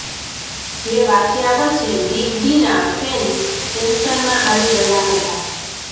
જે વાંચ્યા પછી બિગ બી ના ફેન્સ ટેન્શનમાં આવી ગયા હતાં